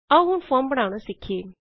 ਆਓ ਹੁਣ ਫੋਰਮ ਬਣਾਉਣਾ ਸਿੱਖਿਏ